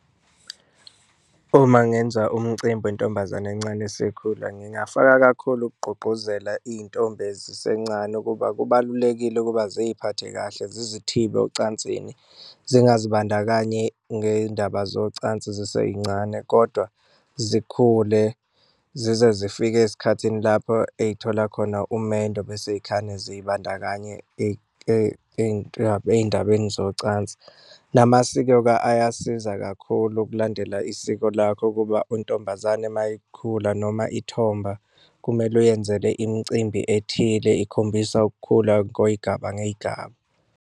Uma ngenza umcimbi wentombazane encane esikhula ngingafaka kakhulu ukugqugquzela iy'ntombi ezisencane ukuba kubalulekile ukuba ziyiphathe kahle, zizithibe ocansini zingazibandakanyi ngey'ndaba zocansi zisey'ncane kodwa zikhule zize zifike ezikhathini lapho ey'thola khona umendo bese yikhane zizibandakanye ey'ndabeni zocansi. Namasiko-ke ayasiza kakhulu ukulandela isiko lakho ukuba untombazane uma ikhula noma ithomba, kumele uyenzele imicimbi ethile ikhombisa ukukhula kweyigaba ngey'gaba.